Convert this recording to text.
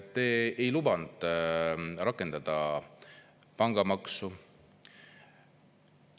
Te ei lubanud rakendada pangamaksu.